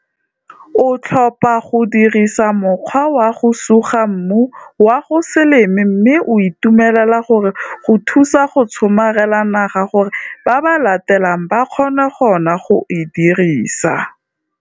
O tlhopha go dirisa mokgwa wa go suga mmu wa go se leme mme o itumela gore go thusa go tshomarela naga gore ba ba latelang ba kgone go nna go e dirisa.